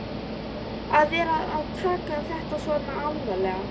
Að vera að taka þetta svona alvarlega.